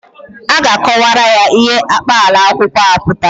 A ga-akọwara ya ihe akpaalaokwu ahụ pụtara.